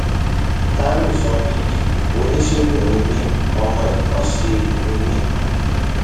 tàìwo ṣọńbìbí oníṣègùn ni mí ọmọ ikánṣẹ ni mí